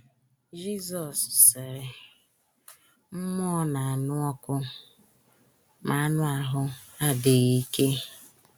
Jizọs sịrị: “ Mmụọ na - anụ ọkụ, ma anụ ahụ́ adịghị ike. ”